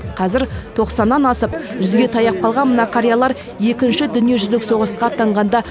қазір тоқсаннан асып жүзге таяп қалған мына қариялар екінші дүниежүзілік соғысқа аттанғанда